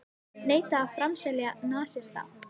Neita að framselja nasista